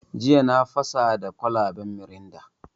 Jiya na fasa da kwalaban mirinda.